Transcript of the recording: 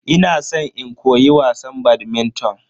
Ina san in koyi wasan "badminton"